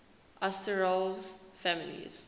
asterales families